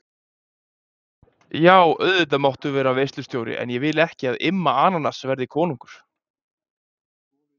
Jú, auðvitað máttu vera veislustjóri en ég vil ekki að Immi ananas verði konungur.